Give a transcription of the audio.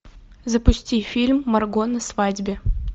запусти фильм марго на свадьбе